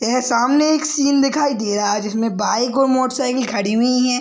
यह सामने एक सीन दिखाई दे रहा है जिसमे बाइक और मोटरसाइकिल खड़ी हुई है।